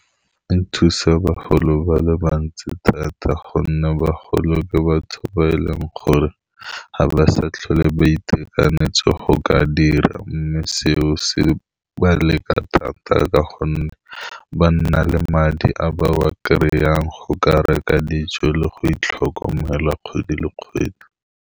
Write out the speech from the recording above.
E thusa bagolo ba le bantsi thata gonne bagolo ke ba tshaba e leng gore ga ba sa tlhole ba itekanetse go ka dira, mme seo se ba leka thata ka gonne ba nna le madi a ba ba kry-ang go ka reka dijo le go itlhokomela kgwedi le kgwedi.